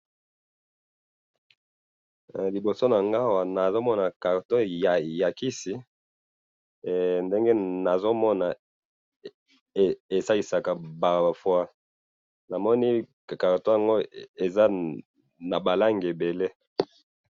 liboso nanga awa nazomona carton ya kisi ndenge nazo mona esaisaka ba foie , namonincarton oyo eza naba langi ebele